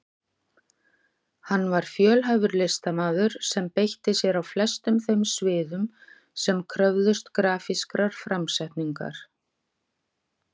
Hann var fjölhæfur listamaður sem beitti sér á flestum þeim sviðum sem kröfðust grafískrar framsetningar.